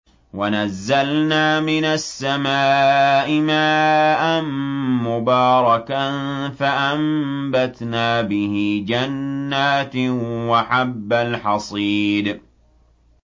وَنَزَّلْنَا مِنَ السَّمَاءِ مَاءً مُّبَارَكًا فَأَنبَتْنَا بِهِ جَنَّاتٍ وَحَبَّ الْحَصِيدِ